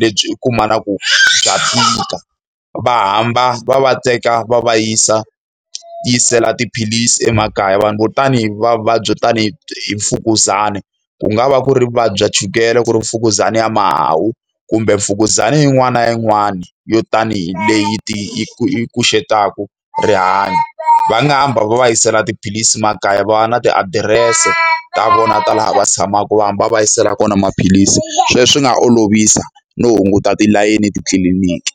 lebyi u kumaka ku bya tika. Va hamba va va teka va va yisa yisela tiphilisi emakaya. Vanhu vo tanihi va vuvabyi byo tanihi hi hi mfukuzana, ku nga va ku ri vuvabyi bya chukele, ku ri mfukuzana ya mahawu, kumbe mfukuzana yin'wana na yin'wana yo tanihi leyi ku xungetaka rihanyo. Va nga hamba va va yisela tiphilisi makaya, va va na tiadirese ta vona ta laha va tshamaka va hamba va va yisela kona maphilisi. Sweswo swi nga olovisa no hunguta tilayini titliliniki.